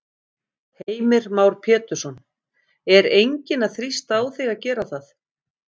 Heimir Már Pétursson: Er enginn að þrýsta á þig að gera það?